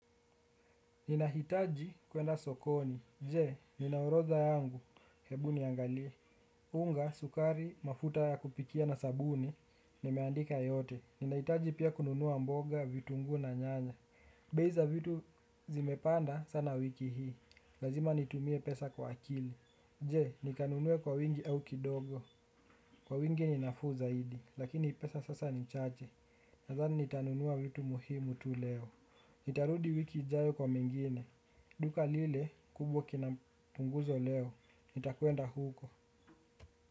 Ninahitaji kuenda sokoni. Je, nina orodha yangu? Hebuni niangalie. Unga, sukari, mafuta ya kupikia na sabuni. Nimeandika yote. Ninahitaji pia kununua mboga, vitunguu na nyanya. Bei za vitu zimepanda sana wiki hii. Lazima nitumie pesa kwa akili. Je, nikanunue kwa wingi au kidogo. Kwa wingi ni nafuu zaidi. Lakini pesa sasa ni chache. Nadhani nitanunua vitu muhimu tu leo. Nitarudi wiki ijayo kwa mengine. Duka lile kubwa kina mpunguzo leo, nitakwenda huko.